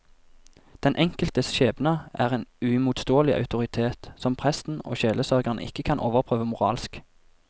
Den enkeltes skjebne er en uimotsigelig autoritet, som presten og sjelesørgeren ikke kan overprøve moralsk.